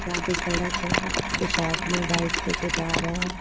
यहां पे सड़क है कुछ आदमी बाइक्स लेके जा रहे हैं।